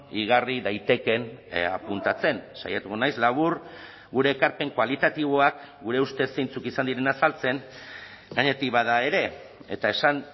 igarri daitekeen apuntatzen saiatuko naiz labur gure ekarpen kualitatiboak gure ustez zeintzuk izan diren azaltzen gainetik bada ere eta esan